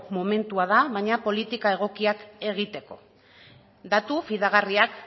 momentua da baina politika egokiak egiteko datu fidagarriak